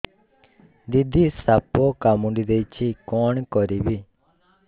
ଦିଦି ସାପ କାମୁଡି ଦେଇଛି କଣ କରିବି